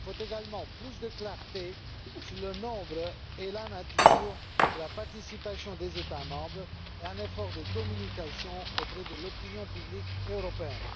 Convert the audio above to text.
Il faut également plus de clarté sur le nombre et la nature de la participation des États membres et un effort de communication auprès de l'opinion publique européenne.